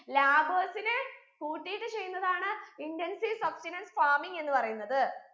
labours നെ കൂട്ടീട്ട് ചെയ്യുന്നതാണ് intensive substenance farming എന്ന് പറയുന്നത്